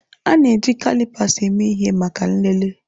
A na-eji kalipas eme ihe maka nlele